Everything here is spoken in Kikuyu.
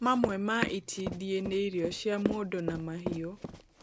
Mamwe ma itindiĩ nĩ irio cia mũndũ na mahiũ